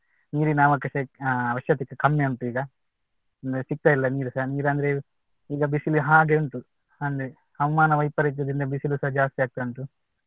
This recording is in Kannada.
ನೀರಿನ ಅವಶ್ಯ~ ಅವಶ್ಯಕತೆ ಕಮ್ಮಿ ಉಂಟು ಈಗ ಸಿಕ್ತ ಇಲ್ಲ ನೀರುಸ ನೀರು ಅಂದ್ರೆ ಈಗ ಬಿಸಿಲು ಹಾಗೆ ಉಂಟು ಅಂದ್ರೆ ಹವಾಮಾನ ವೈಪರೀತ್ಯದಿಂದ ಬಿಸಿಲೂಸಾ ಜಾಸ್ತಿ ಆಗ್ತಾ ಉಂಟು